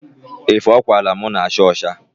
Efe ọ kwaara mụ na-acha ọcha.